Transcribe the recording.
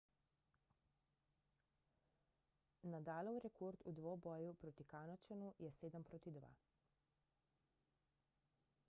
nadalov rekord v dvoboju proti kanadčanu je 7–2